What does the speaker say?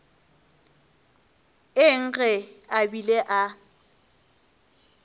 eng ge a bile a